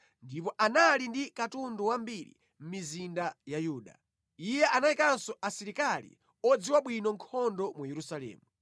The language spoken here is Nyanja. ndipo anali ndi katundu wambiri mʼmizinda ya Yuda. Iye anayikanso asilikali odziwa bwino nkhondo mu Yerusalemu.